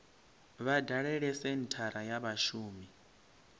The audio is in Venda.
vha dalele senthara ya vhashumi